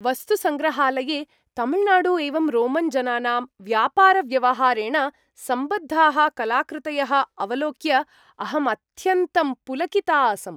वस्तुसङ्ग्रहालये तमिळुनाडु एवं रोमन्जनानां व्यापारव्यवहारेण सम्बद्धाः कलाकृतयः अवलोक्य अहम् अत्यन्तं पुलकिता आसम्।